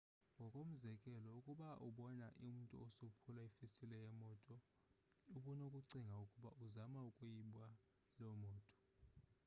ngokomzekelo ukuba ubona umntu esophula ifestile yemoto ubunokucinga ukuba uzama ukuyiba loo moto